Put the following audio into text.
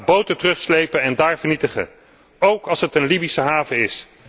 werk! Ga boten terugslepen en daar vernietigen, ook als het een Libische haven